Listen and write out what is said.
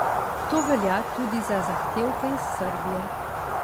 To velja tudi za zahtevke iz Srbije.